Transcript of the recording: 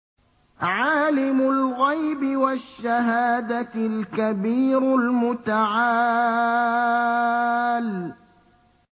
عَالِمُ الْغَيْبِ وَالشَّهَادَةِ الْكَبِيرُ الْمُتَعَالِ